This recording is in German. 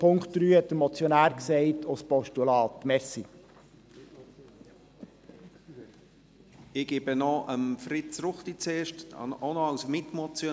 Den Punkt 3 – das hat der Motionär bereits gesagt – bitten wir Sie als Postulat zu unterstützen.